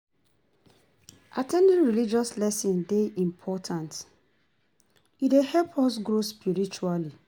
At ten ding religious lessons dey important, e dey help us grow spiritually.